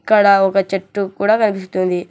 ఇక్కడ ఒక చెట్టు కూడా కనిపిస్తుంది.